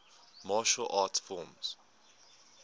martial arts film